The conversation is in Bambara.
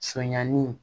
Sonyani